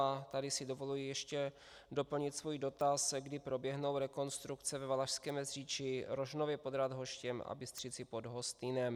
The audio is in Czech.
A tady si dovoluji ještě doplnit svůj dotaz, kdy proběhnou rekonstrukce ve Valašském Meziříčí, Rožnově pod Radhoštěm a Bystřicí pod Hostýnem.